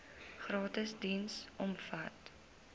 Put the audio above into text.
gratis diens omvat